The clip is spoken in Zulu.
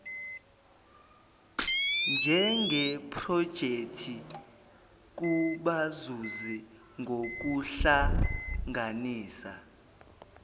njengeprojekthi kubazuzi ngokuhlanganisa